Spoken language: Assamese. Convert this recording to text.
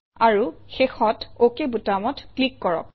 আৰু শেষত অক বুটামত ক্লিক কৰক